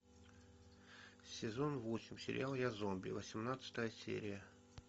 сезон восемь сериал я зомби восемнадцатая серия